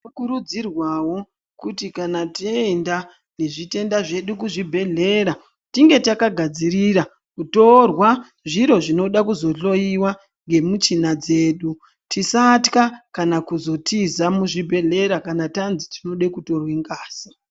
Tino kurudzirwawo kuti kana taenda ne zvitenda zvedu ku zvibhedhlera tinge taka gadzirira kutorwa zviro zvinoda kuzo hloyiwa nge muchina dzedu tisatya kana kuzo tiza mu zvibhedhlera kana tanzi tinode kutorwe ngazi.